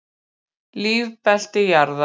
Lífbelti jarðar.